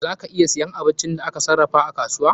Za ka iya siyan abincin da aka sarrafa a kasuwa.